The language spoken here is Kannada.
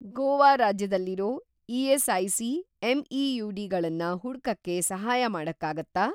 ಗೋವಾ ರಾಜ್ಯದಲ್ಲಿರೋ ಇ.ಎಸ್.ಐ.ಸಿ. ಎಂ.ಇ.ಯು.ಡಿ. ಗಳನ್ನ ಹುಡ್ಕಕ್ಕೆ ಸಹಾಯ ಮಾಡಕ್ಕಾಗತ್ತಾ?